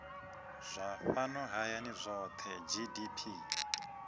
zwa fhano hayani zwohe gdp